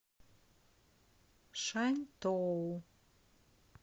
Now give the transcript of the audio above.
шаньтоу